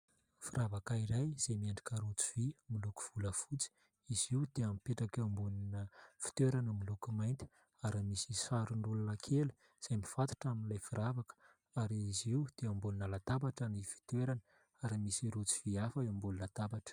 Firavaka iray izay miendrika rojovy, miloko volafotsy. Izy io dia mipetraka eo ambonina fitoerana miloko mainty ary misy sarin'olona kely izay mifatotra amin'ilay firavaka. Ary izy io dia ambonina latabatra ny fitoerany ary misy rojo vy hafa eo ambony latabatra.